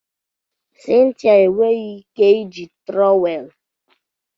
Cynthia enweghị ike iji trowel